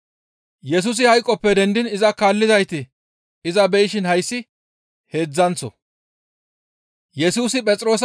Yesusi hayqoppe dendiin iza kaallizayti iza beyishin hayssi heedzdzanththo.